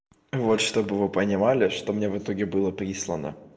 вот чтобы вы понимали что мне в итоге было прислано